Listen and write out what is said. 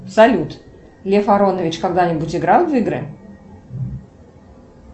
салют лев аронович когда нибудь играл в игры